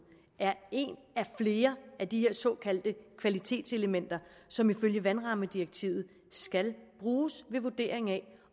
er et af flere af de her såkaldte kvalitetselementer som ifølge vandrammedirektivet skal bruges ved vurdering af